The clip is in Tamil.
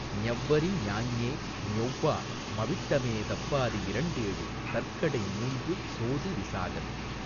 ஞவ்வரி ஞாஞே ஞொவ்வா மவிட்டமே தவ்வாரி யிரண்டேழு தற்கடை மூன்று சோதி விசாகந்